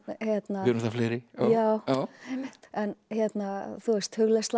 við erum það fleiri en hugleiðsla